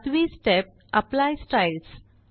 सातवी step apply styles